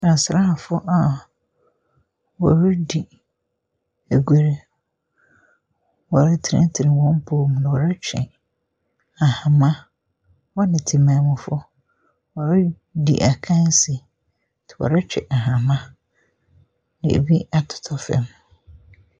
Asraaafoɔ a wɔdzi agoru. Wɔretenetene wɔn mpo mu na wɔretwe ahama. Wɔn ne temanmufoɔ wɔredi akansie nti wɔretwe ahama. Na ebi atota fam.